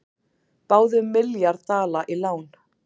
Báðu um milljarð dala í lán